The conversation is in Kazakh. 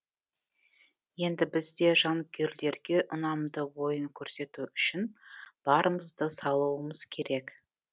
енді біз де жанкүйерлерге ұнамды ойын көрсету үшін барымызды салуымыз керек